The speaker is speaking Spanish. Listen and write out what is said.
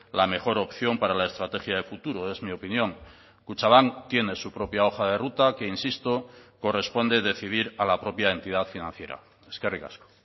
la mejor opción para la estrategia de futuro es mi opinión kutxabank tiene su propia hoja de ruta que insisto corresponde decidir a la propia entidad financiera eskerrik asko